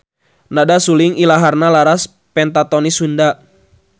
Nada suling ilaharna laras pentatonis Sunda.